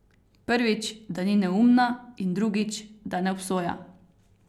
Prvič, da ni neumna, in drugič, da ne obsoja.